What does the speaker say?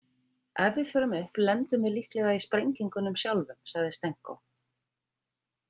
Ef við förum upp lendum við líklega í sprengingunum sjálfum, sagði Stenko.